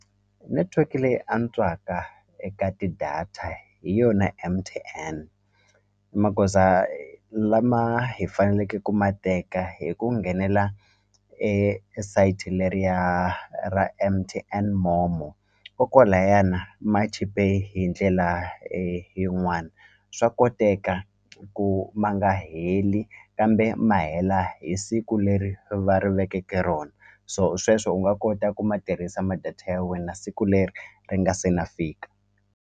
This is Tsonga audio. Netiweke leyi antswaka eka ti-data hi yona M_T_N magoza lama hi faneleke ku ma teka hi ku nghenela esayitini leriya ra M_T_N MOMO kokwalayana ma chipe hi ndlela yin'wani swa koteka ku ma nga heli kambe ma hela hi siku leri va ri vekeke rona so sweswo u nga kota ku ma tirhisa ma data ya wena siku leri ri nga se na fika.